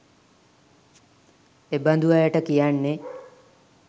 එබඳු අයට කියන්නේ